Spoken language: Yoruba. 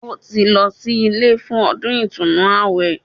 Ó ti lọ sí ilé fún ọdún ìtúnu àwẹ̀